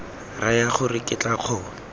raya gore ke tla kgona